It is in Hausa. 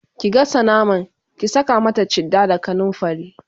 ki gasa naman, ki Saka mata chitta da kanumfari!